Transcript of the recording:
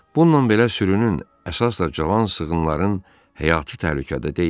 Bununla belə sürünün əsas da cavan sığınların həyatı təhlükədə deyildi.